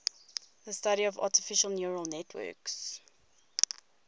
the study of artificial neural networks